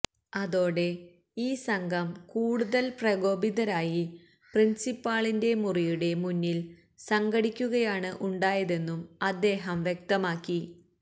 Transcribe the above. അതോടെ ഈ സംഘം കൂടുതല് പ്രകോപിതരായി പ്രിന്സിപ്പാളിന്റെ മുറിയുടെ മുന്നില് സംഘടിക്കുകയാണ് ഉണ്ടായതെന്നും അദ്ദേഹം വ്യക്തമാക്കി